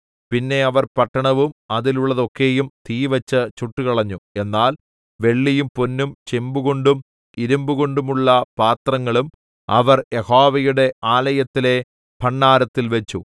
പിന്നെ അവർ പട്ടണവും അതിലുള്ളതൊക്കെയും തീവെച്ച് ചുട്ടുകളഞ്ഞു എന്നാൽ വെള്ളിയും പൊന്നും ചെമ്പുകൊണ്ടും ഇരിമ്പുകൊണ്ടുമുള്ള പാത്രങ്ങളും അവർ യഹോവയുടെ ആലയത്തിലെ ഭണ്ഡാരത്തിൽ വെച്ചു